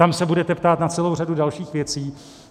Tam se budete ptát na celou řadu dalších věcí.